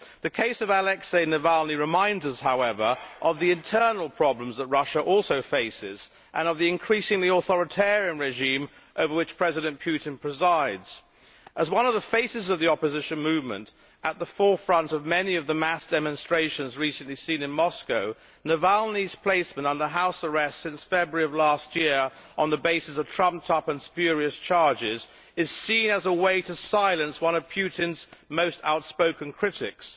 The case of Alexei Navalny reminds us, however, of the internal problems that Russia also faces and of the increasingly authoritarian regime over which President Putin presides. As one of the faces of the opposition movement at the forefront of many of the mass demonstrations recently seen in Moscow, Navalny's placement under house arrest since February of last year on the basis of trumped up and spurious charges is seen as a way to silence one of Putin's most outspoken critics.